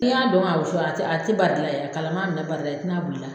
Ni y'a don k'a susu, a tɛ bali la, a kalaman bɛna bar'i la